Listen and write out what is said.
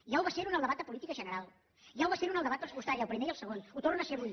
ja va ser ho en el debat de política general ja va ser ho en el debat pressupostari el primer i el segon ho torna a ser avui